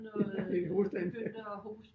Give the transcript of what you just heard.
Ja fik hoste derinde